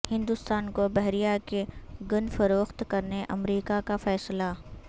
ہندوستان کو بحریہ کے گن فروخت کرنے امریکہ کا فیصلہ